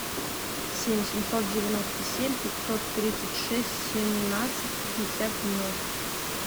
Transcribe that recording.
семь семьсот девяносто семь пятьсот тридцать шесть семнадцать пятьдесят ноль